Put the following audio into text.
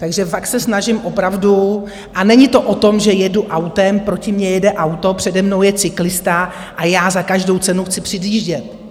Takže fakt se snažím opravdu - a není to o tom, že jedu autem, proti mně jede auto, přede mnou je cyklista a já za každou cenu chci předjíždět.